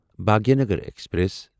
Bhagyanagar express